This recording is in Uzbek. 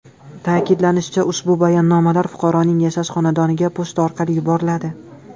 Ta’kidlanishicha, ushbu bayonnomalar fuqaroning yashash xonadoniga pochta orqali yuboriladi.